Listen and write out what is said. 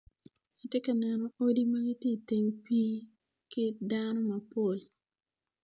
Atye ka neno odi ma gitye iteng pi ki dano mapol